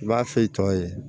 I b'a f'i tɔ ye